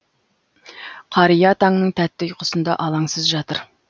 қария таңның тәтті ұйқысында алаңсыз жатыр